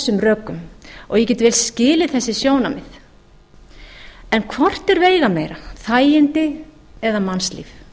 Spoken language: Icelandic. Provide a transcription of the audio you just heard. þessum rökum og ég get vel skilið þessi sjónarmið en hvort er veigameira þægindi eða mannslíf